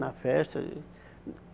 Na festa ih